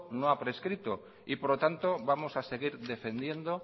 no ha prescrito y por lo tanto vamos a seguir defendiendo